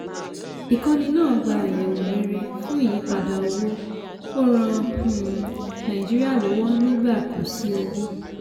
ìkọ́nì náà gba àyẹ̀wò rere fún ìyípadà owó ó ran um nàìjíríà lọ́wọ́ nígbà khó sí owó.